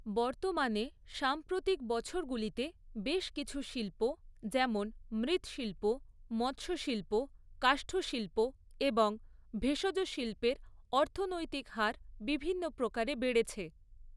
বর্তমানে সাম্প্রতিক বছরগুলিতে বেশ কিছু শিল্প, যেমন মৃৎশিল্প, মৎস্যশিল্প, কাষ্ঠশিল্প এবং ভেষজশিল্পের অর্থনৈতিক হার বিভিন্ন প্রকারে বেড়েছে